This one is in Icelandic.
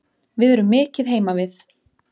Við erum mikið heima við